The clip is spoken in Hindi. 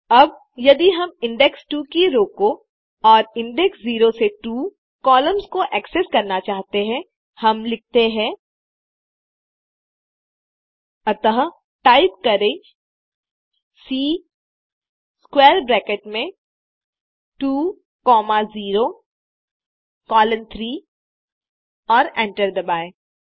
अब यदि हम इंडेक्स 2 की रो को और इंडेक्स 0 से 2सम्मिलित कॉलम्स को एक्सेस करना चाहते हैं हम लिखते हैं अतः टाइप करें सी स्क्वैर ब्रैकेट में 2 कॉमा 0 कोलोन 3 और एंटर दबाएँ